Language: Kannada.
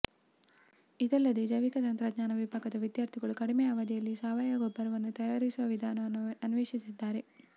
ಇದಲ್ಲದೆ ಜೈವಿಕ ತಂತ್ರಜ್ಞಾನ ವಿಭಾಗದ ವಿದ್ಯಾರ್ಥಿಗಳು ಕಡಿಮೆ ಅವಧಿಯಲ್ಲಿ ಸಾವಯವ ಗೊಬ್ಬರವನ್ನು ತಯಾರಿಸುವ ವಿಧಾನವನ್ನು ಅನ್ವೇಷಿಸಿದ್ದಾರೆ